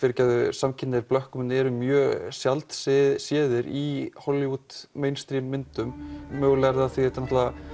samkynhneigðir blökkumenn eru mjög sjaldséðir í Hollywood myndum mögulega er það af því að þetta